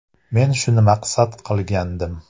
Men shuni maqsad qilgandim.